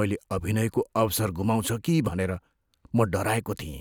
मैले अभिनयको अवसर गुमाउँछु कि भनेर म डराएको थिएँ।